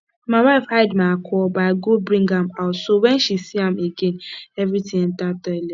my wife hide my alcohol but i go bring am out so wen she see am again everything enter toilet